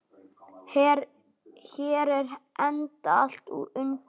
Hér er enda allt undir.